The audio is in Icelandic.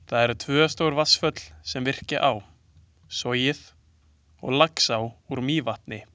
Það eru tvö stór vatnsföll, sem virkja á, Sogið og Laxá úr Mývatni.